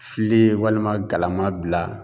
Filen walima galama bila